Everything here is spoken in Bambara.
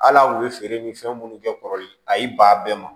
Hal'aw ye feere ni fɛn minnu kɛ kɔrɔlen a y'i ban a bɛɛ ma